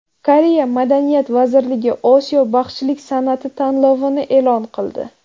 Koreya madaniyat vazirligi Osiyo baxshilik san’ati tanlovini e’lon qildi.